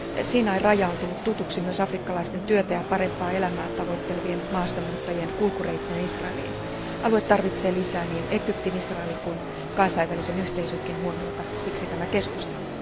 Siinain raja on tullut tutuksi myös afrikkalaisten työtä ja parempaa elämää tavoittelevien maasta muuttajien kulkureittinä Israeliin. Alue tarvitsee lisää niin Egyptin, Israelin kuin kansainvälisen yhteisönkin huomiota, siksi tämä keskustelu.